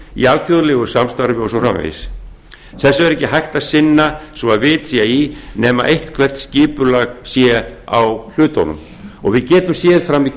öðru alþjóðlegu samstarfi og svo framvegis þessu er ekki hægt að sinna svo að vit sé í nema eitthvert skipulag sé á hlutunum og að við getum séð fram í